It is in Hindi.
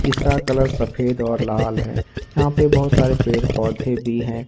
इसका कलर सफेद और लाल है यहां पे बहोत सारे पेड़ पौधे भी हैं।